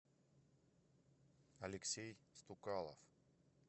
алексей стукалов